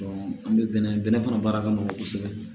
an bɛ bɛnnɛ fana baara ka nɔgɔ kosɛbɛ